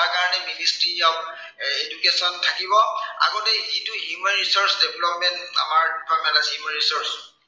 তাৰ কাৰনে ministry of education থাকিব। আগতেই যিটো human resource development আমাৰ human resource